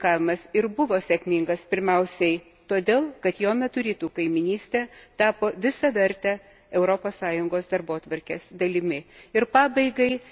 Lietuvos pirmininkavimas ir buvo sėkmingas pirmiausiai todėl, kad jo metu Rytų kaimynystė tapo visaverte Europos Sąjungos darbotvarkės dalimi.